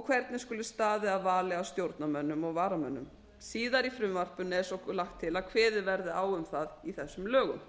og hvernig skuli staðið að vali á stjórnarmönnum og varamönnum síðar í frumvarpinu er svolagt til að kveðið verði á um það í þessum lögum